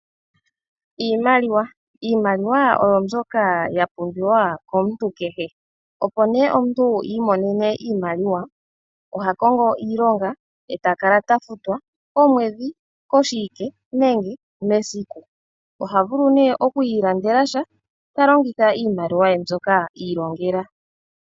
Iimaliwa oyo mbyoka ya pumbiwa komuntu kehe. Opo omuntu i imonene iimaliwa, oha kongo iilonga e ta kala ta futwa komwedhi, koshiwike nenge esiku. Oha vulu okwiilandela sha, ta longitha iimaliwa ye mbyoka i ilongela.